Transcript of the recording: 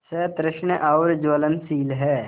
सतृष्ण और ज्वलनशील है